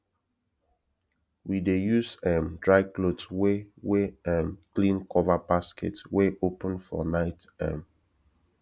we dey use um dry cloth wey wey um clean cover basket wey open for night um